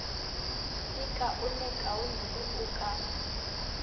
di kaonekaone ge o ka